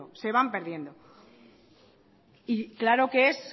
se van perdiendo y claro que es